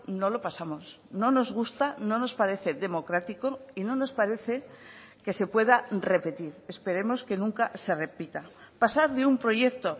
no lo pasamos no nos gusta no nos parece democrático y no nos parece que se pueda repetir esperemos que nunca se repita pasar de un proyecto